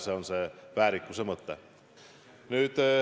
See on see väärikuse mõte.